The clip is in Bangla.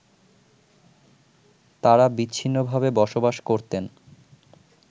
তারা বিচ্ছিন্নভাবে বসবাস করতেন